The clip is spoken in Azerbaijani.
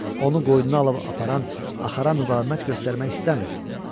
Onu qoynuna alıb aparan axara müqavimət göstərmək istəmirdi.